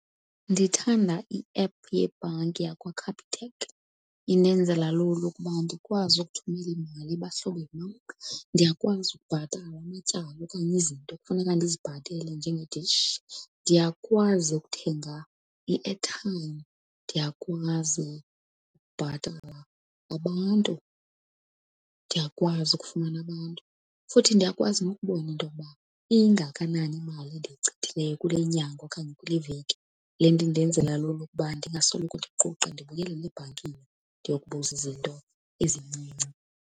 Ndithanda i-app yebhanki yakwaCapitec. Indenzela lula ukuba ndikwazi ukuthumela imali ebahlobeni bam. Ndiyakwazi ukubhatala amatyala okanye izinto ekufuneka ndizibhatele njengedishi. Ndiyakwazi ukuthenga i-airtime, ndiyakwazi ukubhatala abantu, ndiyakwazi ukufumana abantu, futhi ndiyakwazi nokubona into yokuba ingakanani imali endiyichithileyo kule nyanga okanye kule veki. Le nto indenzela lula ukuba ndingasoloko ndiquqa ndibuyelela ebhankini ndiyokubuza izinto ezincinci.